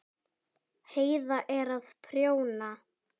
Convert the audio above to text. Heiða er að prjóna.